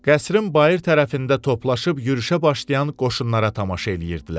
Qəsrin bayır tərəfində toplaşıb yürüşə başlayan qoşunlara tamaşa eləyirdilər.